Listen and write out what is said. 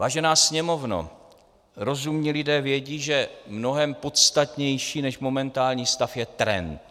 Vážená Sněmovno, rozumní lidé vědí, že mnohem podstatnější než momentální stav je trend.